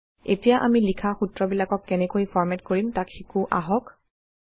এতিয়া আমি লিখা সূত্ৰবিলাকক কেনেকৈ ফৰমেট কৰিম তাক শিকো আহক